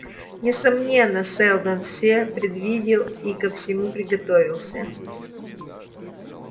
несомненно сэлдон всё предвидел и ко всему приготовился